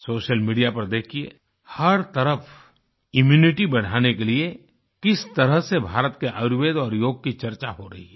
social media पर देखिये हर तरफ इम्यूनिटी बढ़ाने के लिए किस तरह से भारत के आयुर्वेद और योग की चर्चा हो रही है